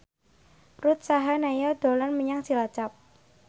Ruth Sahanaya dolan menyang Cilacap